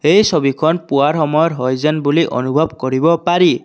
এই ছবিখন পুৱাৰ সময়ৰ হয় যেন বুলি অনুভৱ কৰিব পাৰি।